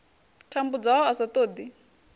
tambudzwaho a sa ṱo ḓi